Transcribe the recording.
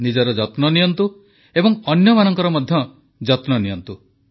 ନିଜର ଯତ୍ନ ନିଅନ୍ତୁ ଏବଂ ଅନ୍ୟମାନଙ୍କର ମଧ୍ୟ ଯତ୍ନ ନିଅନ୍ତୁ